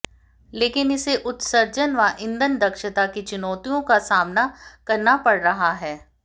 लेकिन इसे उत्सर्जन व ईंधन दक्षता की चुनौतियों का सामना करना पड़ रहा है